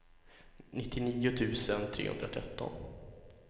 nittionio tusen trehundratretton